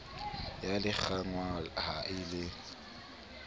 ya lekanngwa ha e le